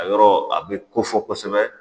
A yɔrɔ a be kofɔ kosɛbɛ